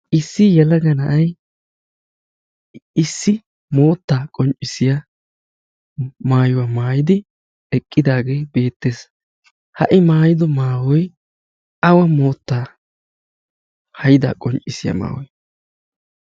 Issi yelaga na'ay issi mootta qonccissiya maayuwaa maayidi eqqidaagee beettees. Ha i maayido maayoy awa moottaa hayda qonccissiya maayoy?